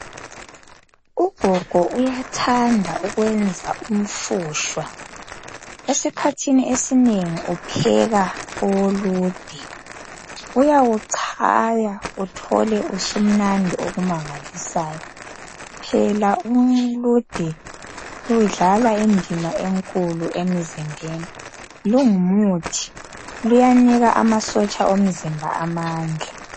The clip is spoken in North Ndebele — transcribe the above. Ugogo uyathanda ukwenza umfushwa esikhathini esinengi upheka owolude uyawuchaya uthole usumnandi okumangalisayo phela ulude ludlala indima enkulu emzimbeni lungumuthi luyanika amasotsha omzimba amandla